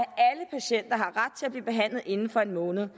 blive behandlet inden for en måned